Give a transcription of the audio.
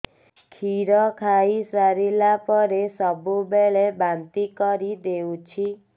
କ୍ଷୀର ଖାଇସାରିଲା ପରେ ସବୁବେଳେ ବାନ୍ତି କରିଦେଉଛି